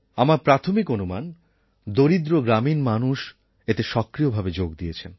আমার প্রাথমিক অনুমান দরিদ্র গ্রামীণ মানুষ এতে সক্রিয়ভাবে যোগ দিয়েছেন